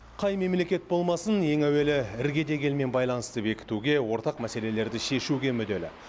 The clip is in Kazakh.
қай мемлекет болмасын ең әуелі іргедегі елмен байланысты бекітуге ортақ мәселелерді шешуге мүдделі